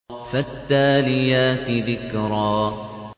فَالتَّالِيَاتِ ذِكْرًا